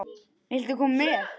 Viltu koma með?